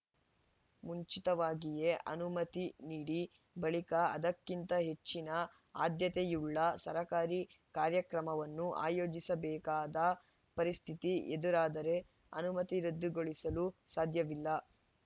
ಮುಂಚಿತವಾಗಿಯೇ ಅನುಮತಿ ನೀಡಿ ಬಳಿಕ ಅದಕ್ಕಿಂತ ಹೆಚ್ಚಿನ ಆದ್ಯತೆಯುಳ್ಳ ಸರ್ಕಾರಿ ಕಾರ್ಯಕ್ರಮವನ್ನು ಆಯೋಜಿಸಬೇಕಾದ ಪರಿಸ್ಥಿತಿ ಎದುರಾದರೆ ಅನುಮತಿ ರದ್ದುಗೊಳಿಸಲು ಸಾಧ್ಯವಿಲ್ಲ